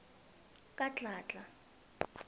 kadladla